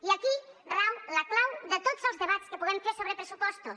i aquí rau la clau de tots els debats que puguem fer sobre pressupostos